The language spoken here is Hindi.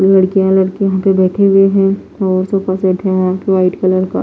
लड़कियां लड़के यहां पे बैठे हुए हैं और सोफा सेट है यहां पे वाइट कलर का--